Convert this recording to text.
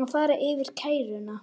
að fara yfir kæruna.